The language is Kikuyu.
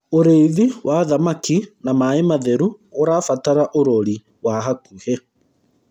ũrĩithi wa thamakĩ na maĩ matheru ũrabatara urori wa hakuhĩ